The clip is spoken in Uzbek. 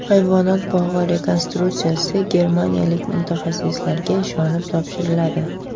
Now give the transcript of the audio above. Hayvonot bog‘i rekonstruksiyasi germaniyalik mutaxassislarga ishonib topshiriladi.